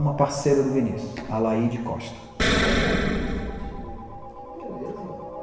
Uma parceira do Vinicius, a Laíde Costa. A laide, que beleza